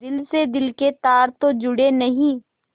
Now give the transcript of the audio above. दिल से दिल के तार तो जुड़े नहीं